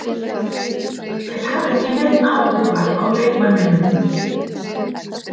Þeir hafa ekki neinn áhuga á leikmanninum.